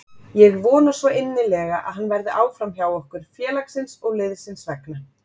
Ég vona svo innilega að hann verði áfram hjá okkur, félagsins og liðsins vegna.